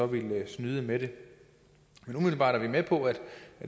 ville snyde med det umiddelbart er vi med på at det